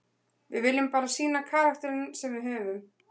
Við viljum bara sýna karakterinn sem við höfum.